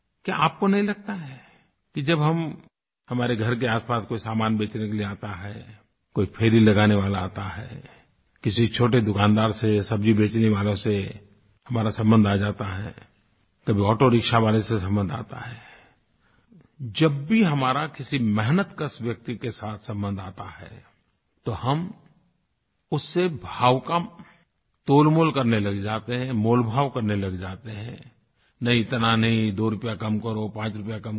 क्या आपको नहीं लगता है कि जब हम हमारे घर के आसपास कोई सामान बेचने के लिए आता है कोई फेरी लगाने वाला आता है किसी छोटे दुकानदार से सब्ज़ी बेचने वालों से हमारा संबंध आ जाता है कभी ऑटोरिक्शा वाले से संबंध आता है जब भी हमारा किसी मेहनतकश व्यक्ति के साथ संबंध आता है तो हम उससे भाव का तोलमोल करने लग जाते हैं मोलभाव करने लग जाते हैं नहीं इतना नहीं दो रूपया कम करो पाँच रुपया कम करो